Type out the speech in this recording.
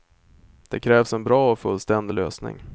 Det krävs en bra och fullständig lösning.